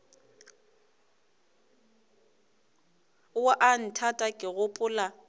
o a nthata ke gopola